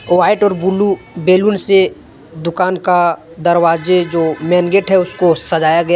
White और blue balloon से दुकान का दरवाजे जो मेन गेट हैं उसको सजाया गया हैं।